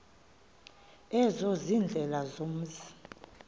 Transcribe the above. ezo ziindlela zomzi